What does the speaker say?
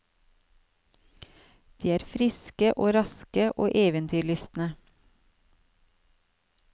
De er friske og raske og eventyrlystne.